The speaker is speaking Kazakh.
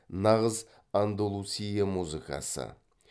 нағыз андалусия музыкасы